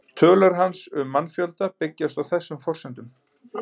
Tölur hans um mannfjölda byggjast á þessum forsendum.